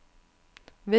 ved ved ved